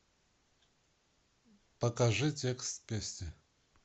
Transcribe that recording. покажи текст песни